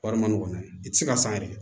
Wari ma nɔgɔ mɛ i tɛ se ka san yɛrɛ